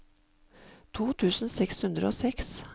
to tusen seks hundre og seks